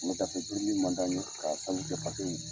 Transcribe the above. Wuladafɛ birili man di an ye k'a sabu paseke